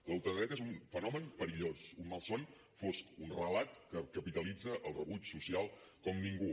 la ultradreta és un fenomen perillós un malson fosc un relat que capitalitza el rebuig social com ningú